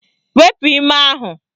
Wepu ime ahụ